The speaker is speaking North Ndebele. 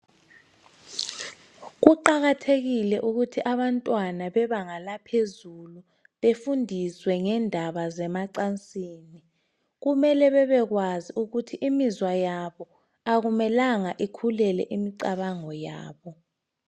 Kuqakathekile ukuthi abantwana bebanga laphezulu befundiswe ngendaba zemacansini, kumele bebekwazi ukuthi imizwa yabo akumelanga ikhulele imicabango yabo.